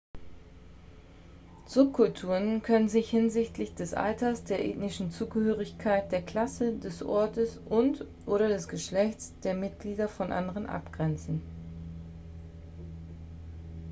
subkulturen können sich hinsichtlich des alters der ethnischen zugehörigkeit der klasse des ortes und/oder des geschlechts der mitglieder von anderen abgrenzen